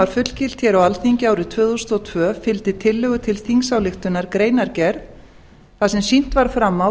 fullgilt hér á alþingi árið tvö þúsund og tvö fylgdi tillögu til þingsályktunar greinargerð þar sem sýnt var fram á